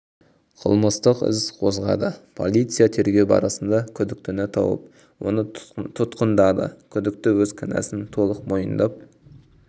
қылмыстық іс қозғады полиция тергеу барысында күдіктіні тауып оны тұтқындады күдікті өз кінәсін толық мойындап